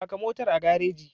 Faka motar a gareji.